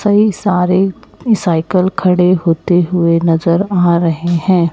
कई सारे साइकिल खड़े होते हुए नजर आ रहे हैं।